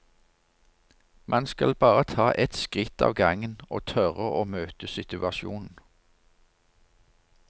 Man skal bare ta ett skritt av gangen og tørre å møte situasjonen.